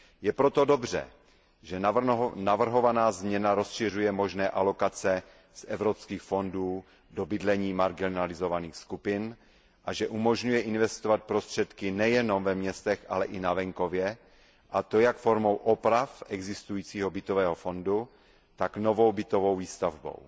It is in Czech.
Je proto dobře, že navrhovaná změna rozšiřuje možné alokace z evropských fondů do bydlení marginalizovaných skupin a že umožňuje investovat prostředky nejenom ve městech, ale i na venkově, a to jak formou oprav existujícího bytového fondu, tak novou bytovou výstavbou.